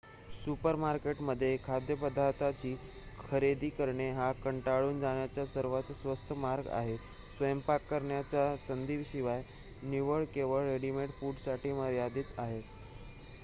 सुपरमार्केटमध्ये खाद्यपदार्थांची खरेदी करणे हा कंटाळून जाण्याचा सर्वात स्वस्त मार्ग आहे स्वयंपाक करण्याच्या संधीशिवाय निवडी केवळ रेडिमेड फूडसाठी मर्यादित आहेत